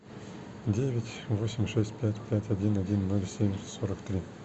девять восемь шесть пять пять один один ноль семь сорок три